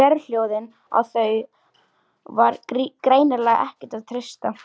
Og sérhljóðin, á þau var greinilega ekkert að treysta.